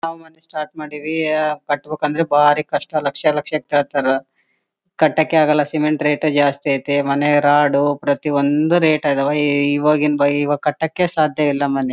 ನಾವು ಮತ್ತೆ ಸ್ಟಾರ್ಟ್ ಮಾಡಿವಿ ಆಹ್ಹ್ಹ್ ಕಟ್ಟಬೇಕು ಅಂದ್ರೆ ಬಾರಿ ಕಷ್ಟ ಲಕ್ಷ ಲಕ್ಷ ಕೇಳ್ತಾರ ಕಟ್ಟೋಕ್ಕೆ ಆಗೋಲ್ಲ ಸಿಮೆಂಟ್ ರೇಟ್ ಜಾಸ್ತಿ ಐತ್ತಿ ಮನೆ ರಾಡು ಪ್ರತಿ ಒಂದು ರೇಟ್ ಇದಾವ ಈ ಇವಗಿನ್ ಬೈ ಇವಗಿನ್ ಕಟ್ಟೋಕ್ಕೆ ಸಾಧ್ಯವಿಲ್ಲ ಮನೆ.